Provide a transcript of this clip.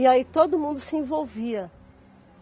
E aí todo mundo se envolvia.